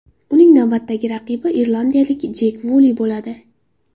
Uning navbatdagi raqibi irlandiyalik Jek Vuli bo‘ladi.